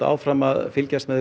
áfram að fylgjast með